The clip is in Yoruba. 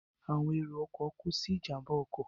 Àwọn èrò ọkọ̀ kú sínú ìjàmbá ọkọ̀